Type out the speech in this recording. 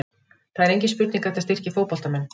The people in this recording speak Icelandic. Það er engin spurning að þetta styrkir fótboltamenn.